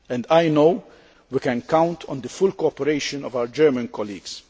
I know that we can count on the full cooperation of our German colleagues.